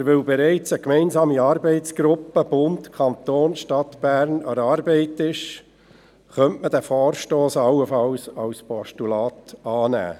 Weil aber bereits eine gemeinsame Arbeitsgruppe von Bund, Kanton und Stadt Bern an der Arbeit ist, könnte man diesen Vorstoss allenfalls als Postulat annehmen.